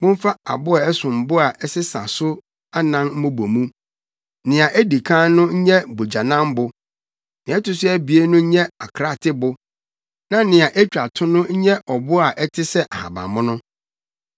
Momfa abo a ɛsom bo a ɛsesa so anan mmobɔ mu. Nea a edi kan no nyɛ bogyanambo, nea ɛto so abien no nyɛ akraatebo na nea etwa to no nyɛ ɔbo a ɛte sɛ ahabammono.